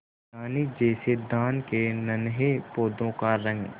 धानी जैसे धान के नन्हे पौधों का रंग